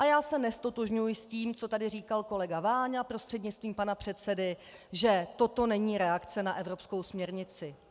A já se neztotožňuji s tím, co tady říkal kolega Váňa prostřednictvím pana předsedy, že toto není reakce na evropskou směrnici.